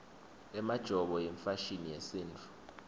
emajobo yimfashini yesintfu